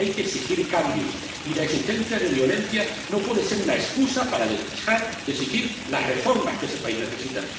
Hay que exigir cambios, y la existencia de violencia no puede ser una excusa para dejar de exigir las reformas que ese país necesita.